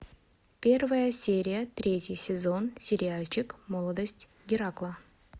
первая серия третий сезон сериальчик молодость геракла